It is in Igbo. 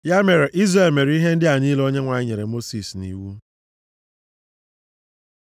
Ya mere, Izrel mere ihe ndị a niile Onyenwe anyị nyere Mosis nʼiwu.